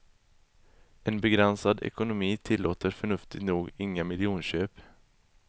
En begränsad ekonomi tillåter, förnuftigt nog, inga miljonköp.